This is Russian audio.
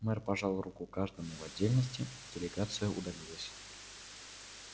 мэр пожал руку каждому в отдельности делегация удалилась